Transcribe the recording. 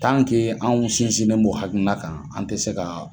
anw sinsinnen b'o hakilina kan an tɛ se ka